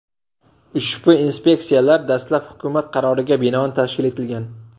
Ushbu inspeksiyalar dastlab hukumat qaroriga binoan tashkil etilgan.